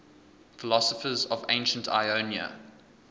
philosophers of ancient ionia